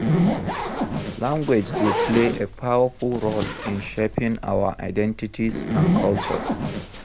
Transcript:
Language dey play a powerful role in shaping our identities and cultures.